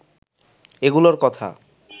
এগুলোর কথা